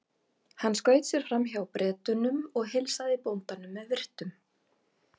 Hann skaut sér fram hjá Bretunum og heilsaði bóndanum með virktum.